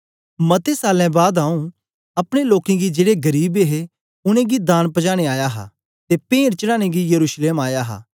मते सालें बाद आंऊँ अपने लोकें गी जेड़े गरीब हे उनेंगी दान पजाने आया हा ते पेंट चढ़ाने गी यरूशलेम आया हा